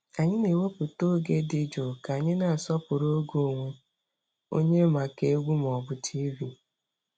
Anyị na-ewepụta oge dị jụụ ka anyị na-asọpụrụ oge onwe onye maka egwu ma ọ bụ TV.